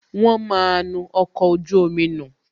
Wọn máa nu ọkọ̀ ojú omi nù